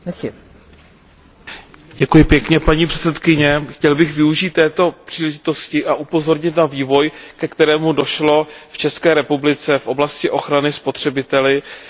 Paní předsedající, chtěl bych využít této příležitosti a upozornit na vývoj, ke kterému došlo v České republice v oblasti ochrany spotřebitele na poli telekomunikačního trhu.